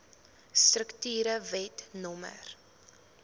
strukture wet no